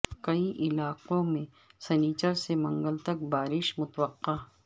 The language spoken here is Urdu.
کئی علاقو ں میں سنیچر سے منگل تک بارش متوقع